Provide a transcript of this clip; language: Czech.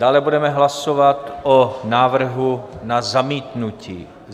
Dále budeme hlasovat o návrhu na zamítnutí.